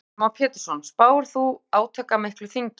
Heimir Már Pétursson: Spáir þú átakamiklu þingi?